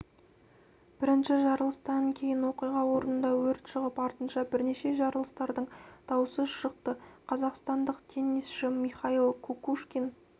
бірінші жарылыстан кейін оқиға орнында өрт шығып артынша бірнеше жарылыстардың даусы шықты қазақстандық теннисші михаил кукушкин